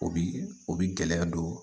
O bi o bi gɛlɛya don